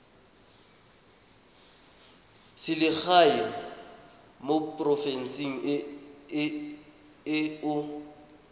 selegae mo porofenseng e o